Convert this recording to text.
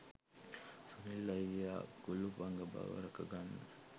සුනිල් අයියා කුළුපග බව රැක ගන්න